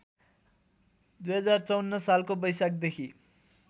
२०५४ सालको बैशाखदेखि